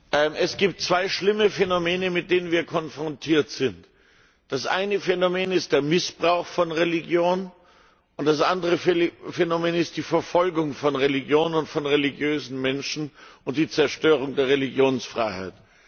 Herr Präsident! Es gibt zwei schlimme Phänomene, mit denen wir konfrontiert sind. Das eine Phänomen ist der Missbrauch von Religion, und das andere Phänomen ist die Verfolgung von Religion und von religiösen Menschen und die Zerstörung der Religionsfreiheit.